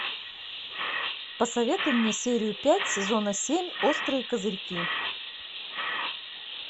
посоветуй мне серию пять сезона семь острые козырьки